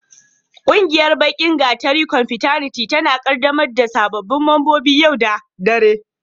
Ƙungiyar Baki gatari confrataniti tana ƙaddamar da sababbin membobin yau da dare.